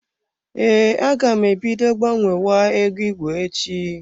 Ee, aga m e bido gbanwewa ego igwe echi.